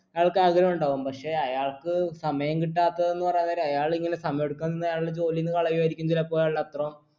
അയാൾക്കാഗ്രഹം ഉണ്ടാകും പക്ഷെ അയാൾക്ക് സമയം കിട്ടാത്തതെന്ന് പറയാൻ നേരം അയാൾ ഇങ്ങനെ സമയം എടുക്കുന്നത് അയാളെ ജോലീന്ന് കളയു ആയിരിക്കു ചിലപ്പോ അയാളുടെ അത്രൊ